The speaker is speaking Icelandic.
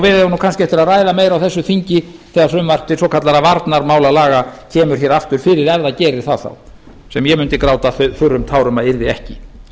eigum kannski eftir að hvað meira á þessu þingi þegar frumvarp til svokallaðra varnarmálalaga kemur hér aftur fyrir ef það gerir það þá sem ég mundi gráta þurrum tárum að yrði ekki